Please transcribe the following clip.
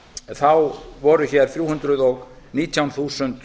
þá voru hér þrjú hundruð og nítján þúsund